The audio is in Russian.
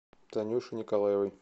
танюше николаевой